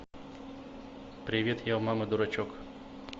привет я у мамы дурачок